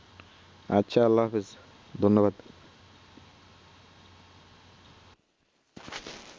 আচ্ছা আল্লাহ হাফেজ ধন্যবাদ